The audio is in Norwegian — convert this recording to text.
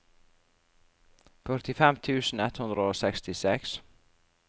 førtifem tusen ett hundre og sekstiseks